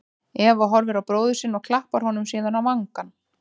Eva horfir á bróður sinn og klappar honum síðan á vangann.